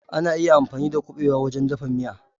Ana iya amfani da kuɓewa wajen dafa miya.